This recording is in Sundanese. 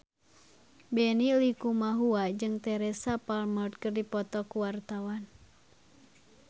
Benny Likumahua jeung Teresa Palmer keur dipoto ku wartawan